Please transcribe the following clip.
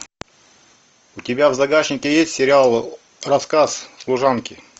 у тебя в загашнике есть сериал рассказ служанки